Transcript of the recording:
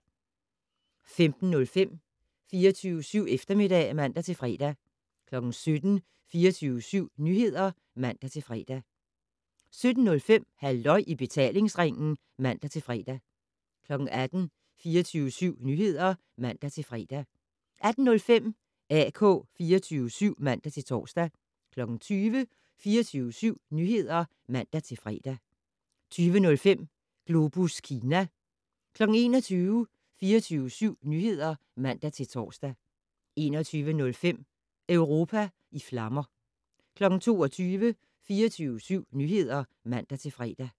15:05: 24syv Eftermiddag (man-fre) 17:00: 24syv Nyheder (man-fre) 17:05: Halløj i betalingsringen (man-fre) 18:00: 24syv Nyheder (man-fre) 18:05: AK 24syv (man-tor) 20:00: 24syv Nyheder (man-fre) 20:05: Globus Kina 21:00: 24syv Nyheder (man-tor) 21:05: Europa i flammer 22:00: 24syv Nyheder (man-fre)